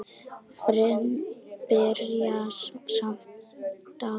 Byrjað smátt, en stækkað ört.